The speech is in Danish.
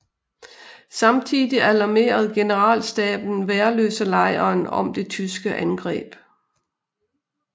Samtidig alarmerede generalstaben Værløselejren om det tyske angreb